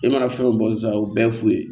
E mana fɛn o fɛn bɔ sisan a y'o bɛɛ f'u ye